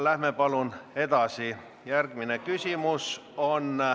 Läheme palun edasi!